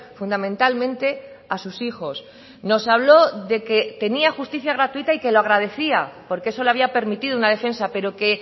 fundamentalmente a sus hijos nos habló de que tenía justicia gratuita y que lo agradecía porque eso le había permitido una defensa pero que